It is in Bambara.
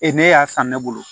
ne y'a san ne bolo